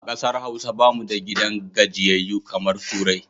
A ƙasar Hausa ba mu da gidan gajiyayyu kamar turai